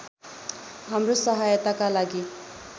हाम्रो सहायताका लागि